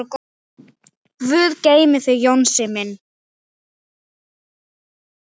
Guð geymi þig Jónsi minn.